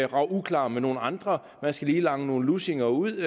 rage uklar med nogle andre man skal lige lange nogle lussinger ud